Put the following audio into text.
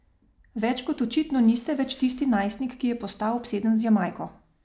Več kot očitno niste več tisti najstnik, ki je postal obseden z Jamajko.